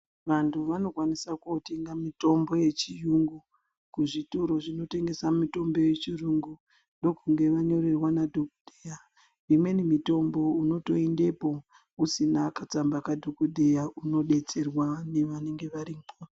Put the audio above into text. Vantu vanokwanisa kotenga mitombo yechiyungu kuzvitoro zvinotengesa mitombo yechiyungu ndokumge zvanyorerwa madhokoteya imweni mitombo unotoendepo usina katsamba kadhokodheya unodetserwa nevanenge varipo.